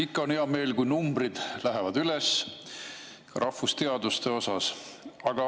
Ikka on hea meel, kui rahvusteaduste numbrid lähevad üles.